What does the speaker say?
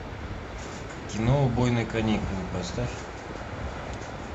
кино убойные каникулы поставь